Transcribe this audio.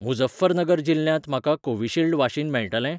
मुझफ्फरनगर जिल्ल्यांत म्हाका Covishield vaccine मेळटलें?